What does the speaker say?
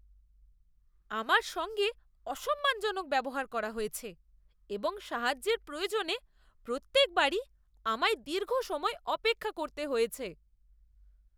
আমার সঙ্গে অসম্মানজনক ব্যবহার করা হয়েছে এবং সাহায্যের প্রয়োজনে প্রত্যেক বারই আমায় দীর্ঘ সময় অপেক্ষা করতে হয়েছে।